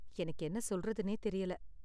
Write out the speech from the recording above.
எனக்கு என்ன சொல்றதுனே தெரியல.